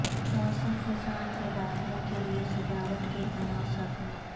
موسم خزاں کے داخلہ کے لئے سجاوٹ کے عناصر